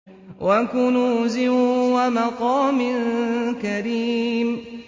وَكُنُوزٍ وَمَقَامٍ كَرِيمٍ